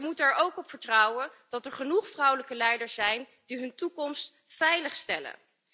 Maar ze moeten er ook op vertrouwen dat er genoeg vrouwelijke leiders zijn die hun toekomst veiligstellen.